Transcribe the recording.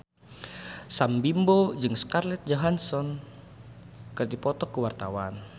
Sam Bimbo jeung Scarlett Johansson keur dipoto ku wartawan